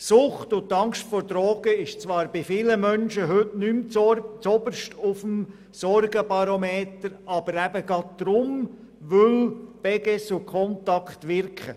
Sucht und die Angst vor Drogen steht zwar bei vielen Menschen heute nicht mehr zuoberst auf dem Sorgenbarometer, aber eben gerade deshalb, weil die Beges und Contact wirken.